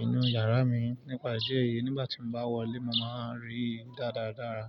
inú yàrá mi. Nípa ìdí ẹ̀yìí nígbà tí mo bá wọlé, mo máa rí i dáradára.